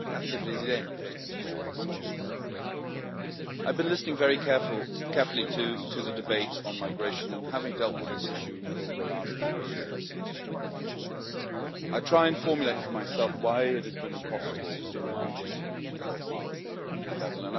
Mr President, I have been listening very carefully to the debate on migration, and having dealt with this issue over the last four years, I try to formulate for myself why it has been impossible to find a solution so far at the European level.